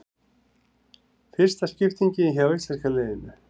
Fyrsta skiptingin hjá íslenska liðinu